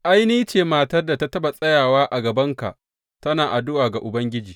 Ai, ni ce matar da ta taɓa tsayawa a gabanka, tana addu’a ga Ubangiji.